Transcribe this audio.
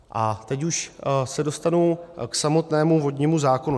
A teď už se dostanu k samotnému vodnímu zákonu.